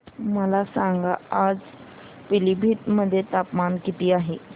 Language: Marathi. मला सांगा आज पिलीभीत मध्ये तापमान किती आहे